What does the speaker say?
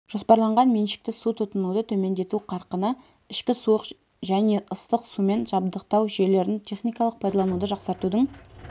жоспарланған меншікті су тұтынуды төмендету қарқыны ішкі суық және ыстық сумен жабдықтау жүйелерін техникалық пайдалануды жақсартудың